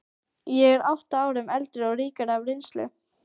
Ég er átta árum eldri og ríkari af reynslu.